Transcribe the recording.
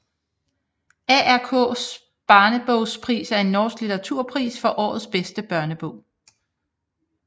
ARKs barnebokpris er en norsk litteraturpris for årets bedste børnebog